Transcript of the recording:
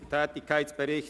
Geschäft 2018.RRGR.145